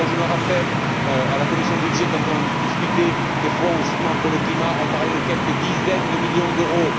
Je me rappelle, à la commission des budgets, quand on discutait des fonds, justement pour le climat, on parlait de quelques dizaines de millions d'euros.